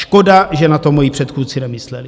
Škoda že na to moji předchůdci nemysleli.